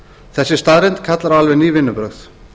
þessi staðreynd kallar á alveg ný vinnubrögð